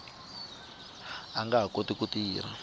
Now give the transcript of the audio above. nga ha kotiki ku tirha